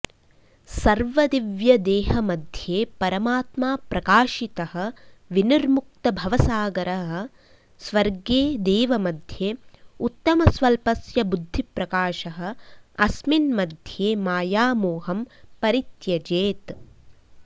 सर्वदिव्यदेहमध्ये परमात्मा प्रकाशितः विनिर्मुक्तभवसागरः स्वर्गे देवमध्ये उत्तमस्वल्पस्य बुद्धिप्रकाशः अस्मिन्मध्ये मायामोहं परित्यजेत्